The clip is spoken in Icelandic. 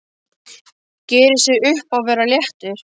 Gerir sér upp að vera léttur.